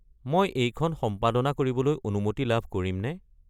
মই এইখন সম্পাদনা কৰিবলৈ অনুমতি লাভ কৰিমনে?